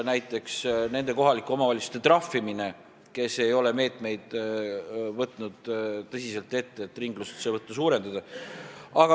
Näiteks, nende kohalike omavalitsuste trahvimine, kes ei ole meetmeid tõsiselt ette võtnud, et ringlusesse võttu suurendada.